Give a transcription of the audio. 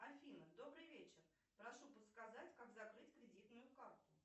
афина добрый вечер прошу подсказать как закрыть кредитную карту